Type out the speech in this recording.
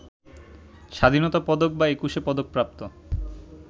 স্বাধীনতা পদক বা একুশে পদকপ্রাপ্ত